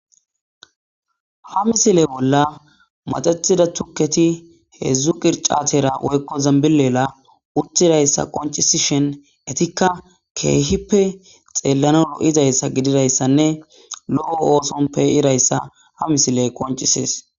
ha misile bolla maxetida tukketi heedzdzu qircatera woykko zambileela uttidayssa qoncisishen etikka keehippe xeellano o7izayssa gididayssanne lo7o oosonpeyirayssa ha misile qoncisees